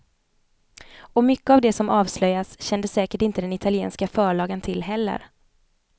Och mycket av det som avslöjas kände säkert inte den italienska förlagan till heller.